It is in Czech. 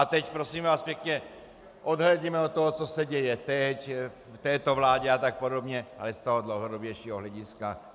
A teď, prosím vás pěkně, odhlédněme od toho, co se děje teď v této vládě a tak podobně, ale z toho dlouhodobějšího hlediska.